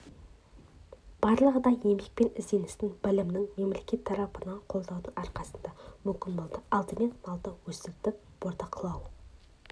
барлығы да еңбек пен ізденістің білімнің мемлекет тарапынан қолдаудың арқасында мүмкін болды алдымен малды өсірдік бордақылау